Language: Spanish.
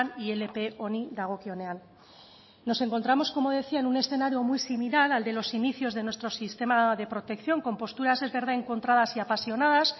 ilp honi dagokionean nos encontramos como decía en un escenario muy similar al de los inicios de nuestro sistema de protección con posturas es verdad encontradas y apasionadas